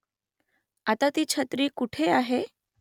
आता ती छत्री कुठे आहे ?